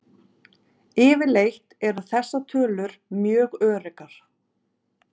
Yfirleitt eru þessar tölur mjög öruggar.